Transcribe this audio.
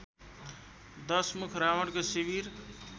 दशमुख रावणको शिविर